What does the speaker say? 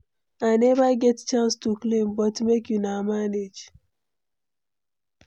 I never get chance to clean, but make una manage.